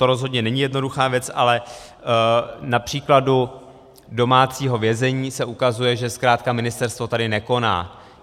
To rozhodně není jednoduchá věc, ale na příkladu domácího vězení se ukazuje, že zkrátka ministerstvo tady nekoná.